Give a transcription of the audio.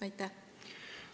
Aitäh!